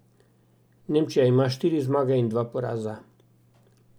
Nemčija ima štiri zmage in dva poraza.